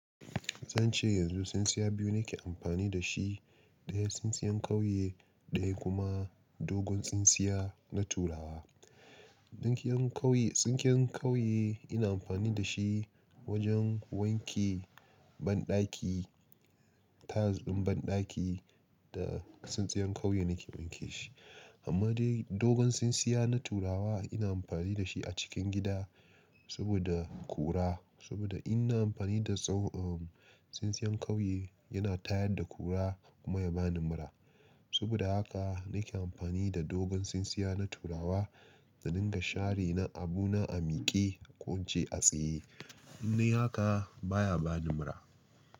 Zan ce yanzu tsintsiya biyu nake amfani da shi. Ɗaya tsintsiyan kauye, ɗaya kuma dogon tsintsiya na turawa. Tsinken kauye ina amfani da shi wajen wanke banɗaki, tiles ɗin banɗaki da tsintsiyan kauye nake wanke shi. Amma dai dogon tsintsiya na turawa ina amfani da shi a cikin gida saboda kura, saboda ina amfani da tsintsiyan kauye yana tayar da kura kuma ya bani mura. Saboda haka nake amfani da dogon tsintsiya na turawa da dinga share abuna a miƙe ko ce a tsaye. Nuna haka baya bani mura.